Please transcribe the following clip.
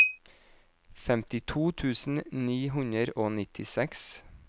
femtito tusen ni hundre og nittiseks